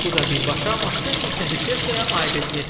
Bu da birbaşa Maskın şirkəti Teslaya aid edilir.